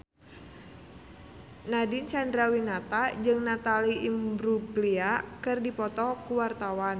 Nadine Chandrawinata jeung Natalie Imbruglia keur dipoto ku wartawan